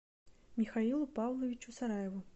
михаилу павловичу сараеву